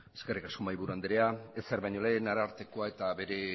eskerrik asko mahaiburu andrea ezer baino lehen arartekoa eta bere